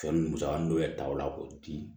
Fɛn musaka dɔw yɛrɛ taw la k'o di